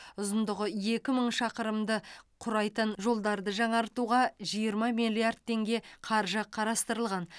ұзындығы екі мың шақырымды құрайтын жолдарды жаңартуға жиырма миллиард теңге қаржы қарастырылған